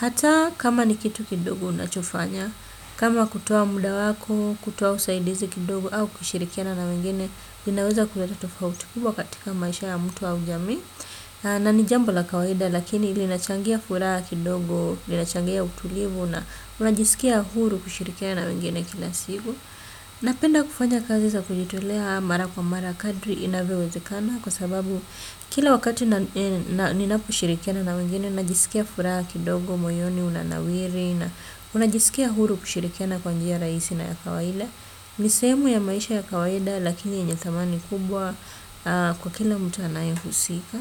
Hata kama ni kitu kidogo unachofanya, kama kutoa muda wako, kutoa usaidizi kidogo au kushirikiana na wengine, linaweza kuleta tofauti kubwa katika maisha ya mtu au jamii. Na ni jambo la kawaida lakini linachangia furaha kidogo, linachangia utulivu na unajisikia huru kushirikiana na wengine kila siku. Napenda kufanya kazi za kujitolea mara kwa mara kadri inavyowezekana kwa sababu kila wakati ninaposhirikiana na wengine, najisikia furaha kidogo, moyoni, unanawiri, na unajisikia huru kushirikiana kwa njia rahisi na ya kawaida. Ni sehemu ya maisha ya kawaida lakini yenye thamani kubwa kwa kila mtu anaye husika.